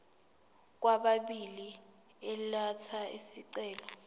kwababili elatha isicelo